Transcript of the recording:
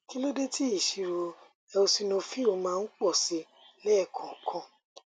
kí ló dé tí ìṣirò eosinophil máa ń pọ sí i lẹẹkọọkan